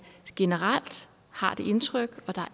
generelt har det indtryk at der